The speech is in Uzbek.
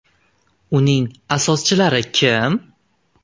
Uning asoschilari kim?